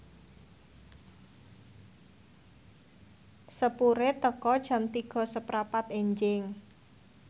sepure teka Jam tiga seprapat enjing